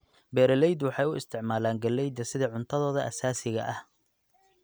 Beeraleydu waxay u isticmaalaan galleyda sida cuntadooda aasaasiga ah.